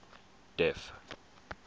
d e f